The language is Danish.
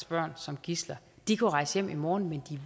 børn som gidsler de kunne rejse hjem i morgen men